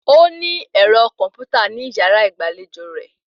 Ó ní ẹ̀rọ kọ̀m̀pútà ní yàrá ìgbàlejò rẹ̀